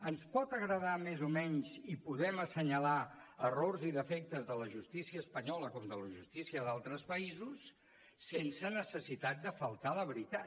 ens pot agradar més o menys i podem assenyalar errors i defectes de la justícia espanyola com de la justícia d’altres països sense necessitat de faltar a la veritat